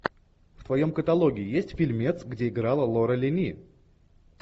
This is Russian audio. в твоем каталоге есть фильмец где играла лора линни